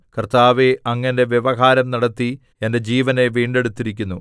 കർത്താവേ അങ്ങ് എന്റെ വ്യവഹാരം നടത്തി എന്റെ ജീവനെ വീണ്ടെടുത്തിരിക്കുന്നു